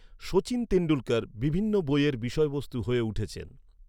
শচীন তেন্ডুলকর বিভিন্ন বইয়ের বিষয়বস্তু হয়ে উঠেছেন।